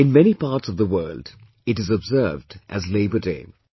In many parts of the world, it is observed as 'Labour Day'